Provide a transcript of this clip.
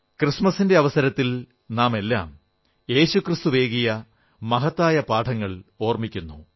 ക്രിസ്തുമസിന്റെ അവസരത്തിൽ നാമെല്ലാം യേശുക്രിസ്തു നൽകിയ മഹത്തായ പാഠങ്ങൾ ഓർമ്മിക്കുന്നു